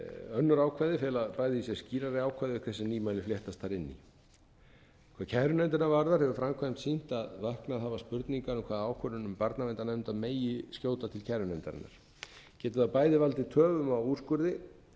önnur ákvæði fela bæði í sér skýrari ákvæði auk þess sem nýmæli fléttast þar inn í hvað kærunefndina varðar hefur framkvæmd sýnt að vaknað hafa spurningar um hvaða ákvarðanir um barnaverndarnefnda megi skjóta til kærunefndarinnar geti það bæði valdið töfum á úrskurði